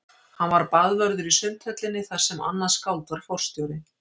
Hann var baðvörður í Sundhöllinni þar sem annað skáld var forstjóri.